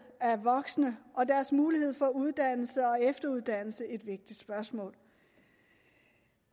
af voksne og deres mulighed for uddannelse og efteruddannelse et vigtigt spørgsmål